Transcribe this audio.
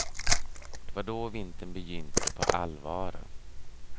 Det var då vintern begynte på allvar.